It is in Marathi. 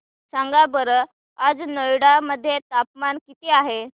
सांगा बरं आज नोएडा मध्ये तापमान किती आहे